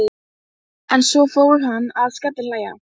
Er það ekki þetta, kæru vinir, sem er tímanna tákn.